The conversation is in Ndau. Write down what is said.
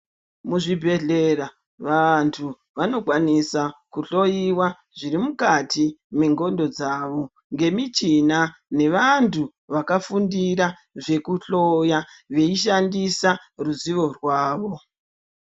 Mu zvibhehlera vantu vanokwanisa ku hloyiwa zviri mukati me ndxondo dzawo nge michina ne vantu vakafundira zveku hloya veishandisa ruzivo rwavo.